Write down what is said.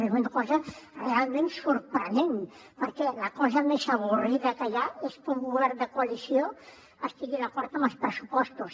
és una cosa realment sorprenent perquè la cosa més avorrida que hi ha és que un govern de coalició estigui d’acord amb els pressupostos